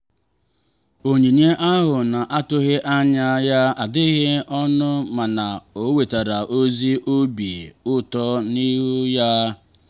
onyinye ahụ na-atụghị anya ya adịghị ọnụ mana o wetara ezi obi ụtọ n'ihu ya.